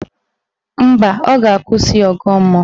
Mba, ọ ga-akwụsị ọgọ mmụọ